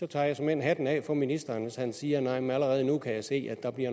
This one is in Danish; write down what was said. tager såmænd hatten af for ministeren hvis han siger at man allerede nu kan se at der